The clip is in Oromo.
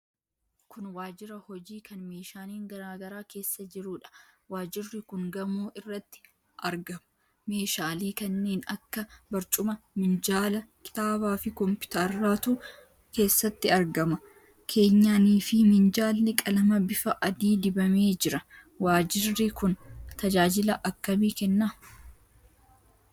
Kun waajjira hojii kan meeshaaleen garaa garaa keessa jiruudha. Waajjirri kun gamoo irratti argama. Meeshaalee kanneen akka barcuma, minjaala, kitaabaafi kompiwuuteratu keessatti argama. Keenyaniifi minjaalli qalama bifa adii dibamee jira. Waajjirri kun tajaajila akkamii kenna?